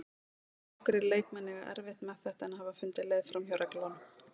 Nokkrir leikmenn eiga erfitt með þetta en hafa fundið leið framhjá reglunum.